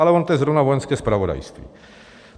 Ale ono je to zrovna Vojenské zpravodajství.